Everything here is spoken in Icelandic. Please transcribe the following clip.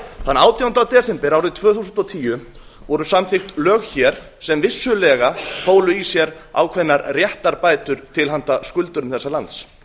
þann átjánda desember árið tvö þúsund og tíu voru samþykkt lög hér sem vissulega fólu í sér ákveðnar réttarbætur til handa skuldurum þessa lands